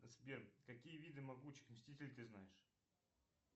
сбер какие виды могучих мстителей ты знаешь